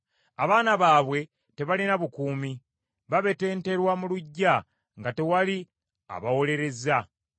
Abaana baabwe tebalina bukuumi, babetenterwa mu luggya nga tewali abawolereza.